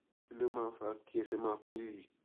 kí ló máa ń fa kí ẹsẹ máa kú rìrì